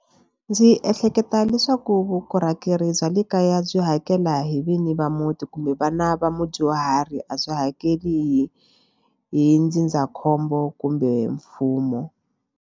Ndzi ehleketa leswaku vukorhokeri bya le kaya byi hakela hi vinyi va muti kumbe vana va mudyuhari a byi hakeli hi ndzindzakhombo kumbe mfumo.